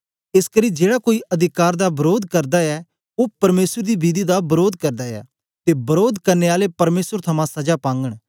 एसकरी जेड़ा कोई अधिकार दा वरोध करदा ऐ ओ परमेसर दी विधि दा वरोध करदा ऐ ते वरोध करने आले परमेसर थमां सजा पागन